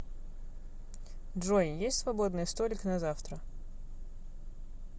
джой есть свободный столик на завтра